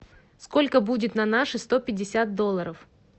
сколько будет на наши сто пятьдесят долларов